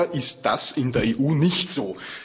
Leider ist das in der EU nicht so.